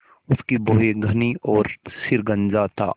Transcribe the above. उसकी भौहें घनी और सिर गंजा था